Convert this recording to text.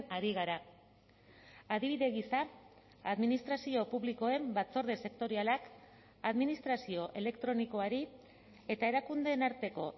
ari gara adibide gisa administrazio publikoen batzorde sektorialak administrazio elektronikoari eta erakundeen arteko